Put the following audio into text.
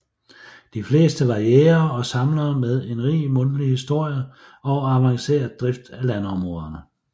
De fleste var jægere og samlere med en rig mundtlig historie og avanceret drift af landområderne